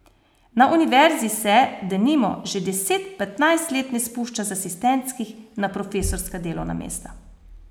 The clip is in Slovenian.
Na univerzi se, denimo, že deset, petnajst let ne spušča z asistentskih na profesorska delovna mesta.